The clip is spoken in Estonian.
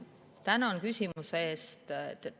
Tänan küsimuse eest.